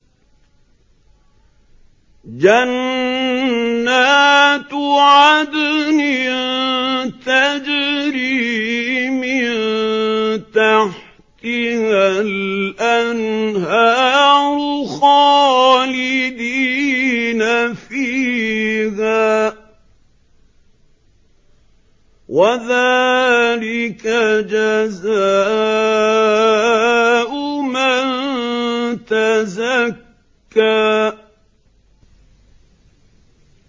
جَنَّاتُ عَدْنٍ تَجْرِي مِن تَحْتِهَا الْأَنْهَارُ خَالِدِينَ فِيهَا ۚ وَذَٰلِكَ جَزَاءُ مَن تَزَكَّىٰ